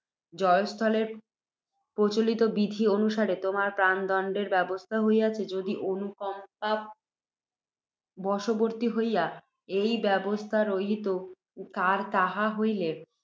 জয়স্থলের প্রচলিত বিধি অনুসারে তোমার প্রাণদণ্ডের ব্যবস্থা হইয়াছে, যদি, অনুকম্পাব বশবর্ত্তী হইয়া, ঐ ব্যবস্থা রহিত, তার তাহা হইলে,